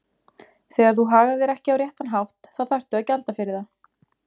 Þegar þú hagar þér ekki á réttan hátt þá þarftu að gjalda fyrir það.